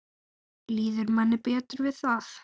Líður manni betur við það?